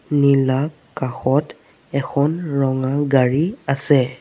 নীলা কাষত এখন ৰঙা গাড়ী আছে।